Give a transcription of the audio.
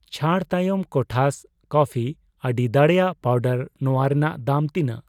ᱪᱷᱟᱹᱲ ᱛᱟᱭᱚᱢ ᱠᱚᱴᱷᱟᱥ ᱠᱚᱯᱯᱷᱤᱤ ᱟᱹᱰᱤ ᱫᱟᱲᱮᱭᱟᱜ ᱯᱟᱣᱰᱟᱨ ᱱᱚᱣᱟ ᱨᱮᱱᱟᱜ ᱫᱟᱢ ᱛᱤᱱᱟᱜ?